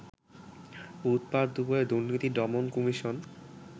বুধবার দুপুরে দুর্নীতি দমন কমিশন